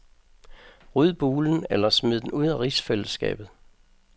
Ryd bulen, eller smid den ud af rigsfællesskabet.